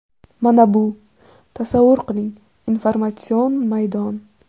Mana bu, tasavvur qiling, informatsion maydon.